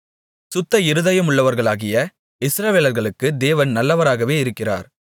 சுத்த இருதயமுள்ளவர்களாகிய இஸ்ரவேலர்களுக்கு தேவன் நல்லவராகவே இருக்கிறார்